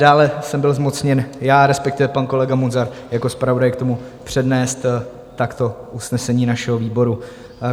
Dále jsem byl zmocněn já, respektive pan kolega Munzar jako zpravodaj, k tomu, přednést takto usnesení našeho výboru.